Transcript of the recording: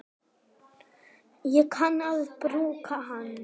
Ég kann að brúka hann.